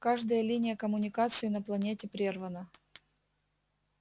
каждая линия коммуникации на планете прервана